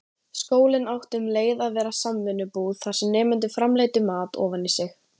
Skólinn átti um leið að vera samvinnubú, þar sem nemendur framleiddu mat ofan í sig.